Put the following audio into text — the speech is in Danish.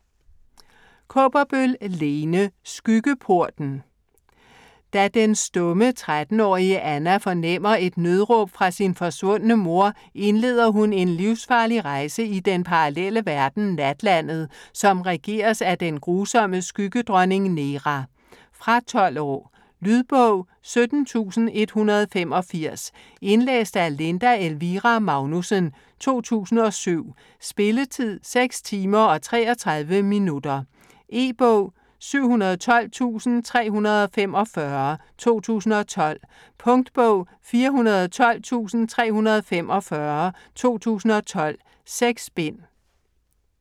Kaaberbøl, Lene: Skyggeporten Da den stumme 13-årige Anna fornemmer et nødråb fra sin forsvundne mor, indleder hun en livsfarlig rejse i den parallelle verden Natlandet, som regeres af den grusomme Skyggedronning Nera. Fra 12 år. Lydbog 17185 Indlæst af Linda Elvira Magnussen, 2007. Spilletid: 6 timer, 33 minutter. E-bog 712345 2012. Punktbog 412345 2012. 6 bind.